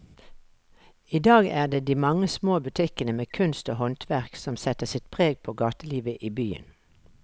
I dag er det de mange små butikkene med kunst og håndverk som setter sitt preg på gatelivet i byen.